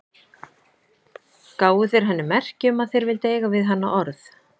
Gáfu þeir henni merki um að þeir vildu eiga við hana orð.